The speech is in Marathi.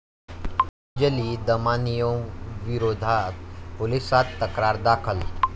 अंजली दमानियांविरोधात पोलिसांत तक्रार दाखल